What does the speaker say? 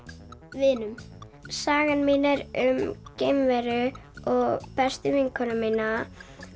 vinum sagan mín er um geimveru og bestu vinkonuna mína